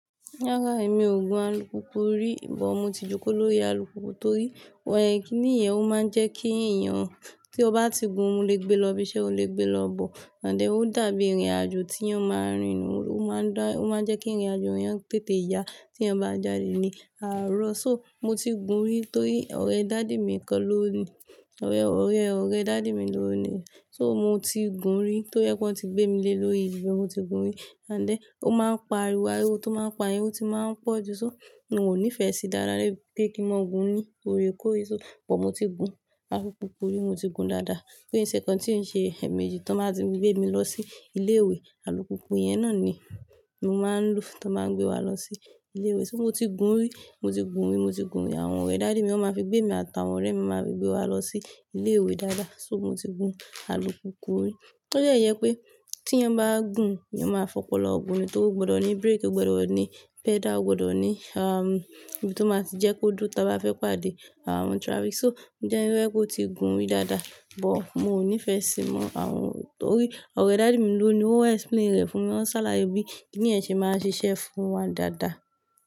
Rárá, èmi ò gun alùpùpù rí, bọ̀ mo ti jókò lórí alùpùpù torí kí nìyẹn, ó máa ń jẹ́ kí èèyàn tí ó bá ti gun, ó lè gbé lọ ibiṣẹ́, o lè gbé lọ bọ. Àndẹ̀ ó dàbí ìrìnàjò tí èèyàn má n rin ó máa ń dá, ó máa ń jẹ́ kí ìrìnàjò rẹ tètè yá tí ẹ bá jáde ní àárọ̀. So mo ti gun rí torí ọ̀rẹ́ daddy mi kan ló ní, ọ̀rẹ́, ọ̀rẹ́ ọ̀rẹ́ daddy mi ló ní i. So mo ti gun rí tó jẹ́ pé wọ́n ti gbé mi lé lórí rí, mo ti gun rí. Àndẹ̀ ó máa ń pa ariwo, ariwo tó máa ń pa yẹn ó ti máa ń pọ̀jù. So n ò nífẹsí dáradára pé kí n máa gun rí torí kó rí. So bọ̀ mo ti gun alùpùpù rí, mo ti gun dáadáa. Kí n ṣe ǹkan tí ń ṣe ẹ̀mẹ̀jì tó máa ti gbé mi lọ sí ilé ìwé, alùpùpù yẹn náà ni mo máa ń lò tó máa gbé wa lọ sí ilé ìwé. So mo ti gun rí, mo ti gun rí, mo ti gun rí. Àwọn ọ̀rẹ́ daddy mi wọ́n máa fi gbé mi àtàwọn ọ̀rẹ́ mi máa fi gbé wa lọ sí ilé ìwé dáadáa. So mo ti gun alùpùpù rí. Torí ẹ́ yẹ pé tí ẹ bá gùn, ẹ máa fọpọlọ̀ gùn nítorí ó gbọdọ̀ ní brake, ó gbọdọ̀ ní pedal, ó gbọdọ̀ ní, um, ohun tó máa ti jẹ́ kó dúró tí a bá fẹ́ pàdé àwọn traffic. So ǹjẹ́ ẹ́ fẹ́ kó ti gun rí dáadáa, bọ̀ mo ò nífẹsí mọ àwọn-- torí ọ̀rẹ́ daddy mi ló ni ó máa explain rẹ̀ fún mi, ó ń sàlà bí i kíni ẹ̀ ṣe máa ń ṣiṣẹ́ fún wa dáadáa.